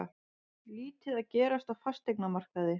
Lítið að gerast á fasteignamarkaði